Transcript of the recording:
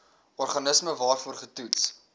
organisme waarvoor getoets